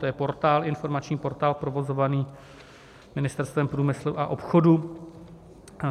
To je informační portál provozovaný Ministerstvem průmyslu a obchodu.